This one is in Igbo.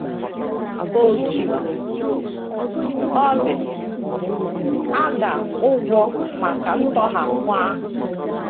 Otú ọ dị, a ga - ụgwọ maka ntọhapụ ahụ.